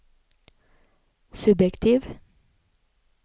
subjektiv